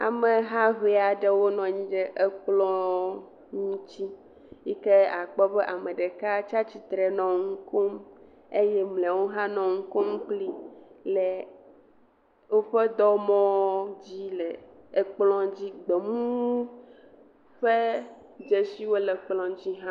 Ameha ƒe aɖewo nɔ anyi ɖe ekplɔ ŋuti yike akpɔ be ame ɖeka tsia tsitre nɔ nu kom eye mleawo hã nɔ nukom kpli le wòƒe dɔmɔdzi le Ele ekplɔ dzi. Gbemu ƒe dzesiwo le ekplɔ dzi hã.